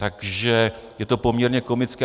Takže je to poměrně komické.